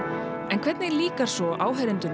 en hvernig líkar áhorfendum